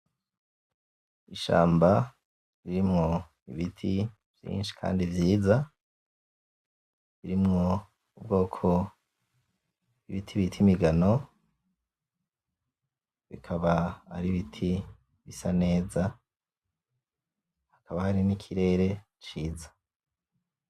Ishamba ririmwo ibiti vyinshi kandi vyiza, birimwo ubwoko bw'ibiti bit'imigano, bikaba ar'ibiti bisa neza, hakaba hari n'ikirere ciza.